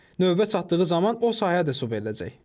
Növbə çatdığı zaman o sahəyə də su veriləcək.